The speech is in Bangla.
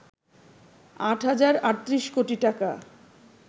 ৮ হাজার ৩৮ কোটি টাকা